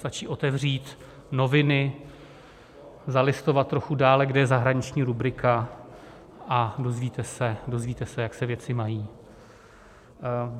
Stačí otevřít noviny, zalistovat trochu dále, kde je zahraniční rubrika, a dozvíte se, jak se věci mají.